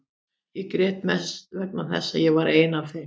Ég grét mest vegna þess að ég var einn af þeim.